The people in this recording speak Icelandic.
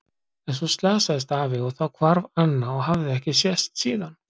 En svo slasaðist afi og þá hvarf Anna og hafði ekki sést síðan.